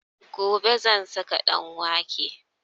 Gobe zan saka ɗanwake